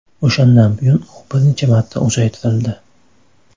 O‘shandan buyon u bir necha marta uzaytirildi.